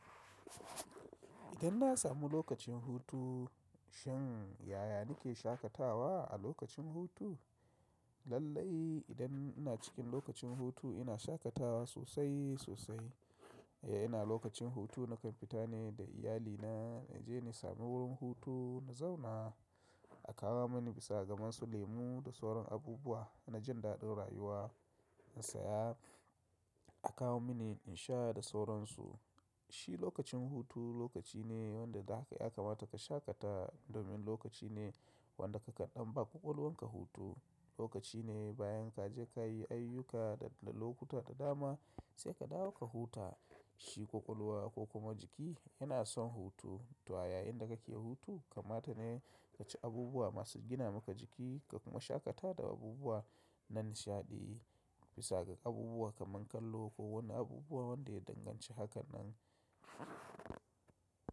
Idan na samu lokacin hutu, shin yaya nake shakatawa a lokacin hutu? Lallai idan ina cikin lokacin hutu ina shakatawa sosai sosai. E ina lokacin hutu nakan fita ne da iyali na na je na sami wurin hutu na zauna, a kawo mani bisa ga masu lemu da sauran abubuwa na jin daɗin rayuwa in saya a kawo mini in sha da sauransu. Shi lokacin hutu lokaci ne wanda da ya kamata ka shakatawa domin lokaci ne wanda ka ƙaɗanba ƙwaƙwalwarka hutu. Lokaci ne bayan kaje kayi ayyuka da da lokuta da dama sai ka dawo ka huta shi ƙwaƙwalwa ko kuma jiki yana son hutu. To a yayinda kake hutu kamata ne ka ci abubuwa masu gina maka jiki ka kuma shakata da abubuwa nan shaɗi bisa ga abubuwa kaman kallo ko wani abubuwa wanda ya danganci hakan nan.